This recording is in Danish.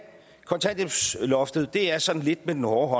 kontanthjælpsloftet er at sådan lidt med den hårde